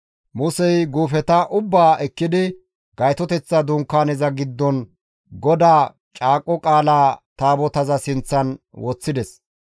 Musey guufeta ubbaa ekkidi Gaytoteththa Dunkaaneza giddon GODAA Caaqo Qaala Taabotaza sinththan woththides.